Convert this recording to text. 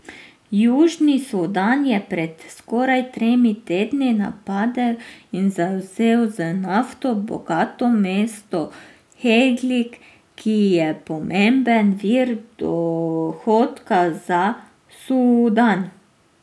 Južni Sudan je pred skoraj tremi tedni napadel in zavzel z nafto bogato mesto Heglig, ki je pomemben vir dohodka za Sudan.